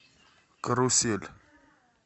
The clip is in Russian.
карусель